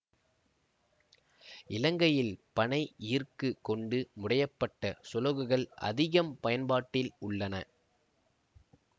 இலங்கையில் பனை ஈர்க்கு கொண்டு முடையப்பட்ட சுளகுகள் அதிகம் பயன்பாட்டில் உள்ளன